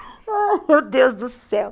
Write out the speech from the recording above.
Oh, meu Deus do céu!